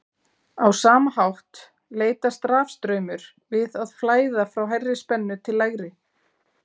á sama hátt leitast rafstraumur við að flæða frá hærri spennu til lægri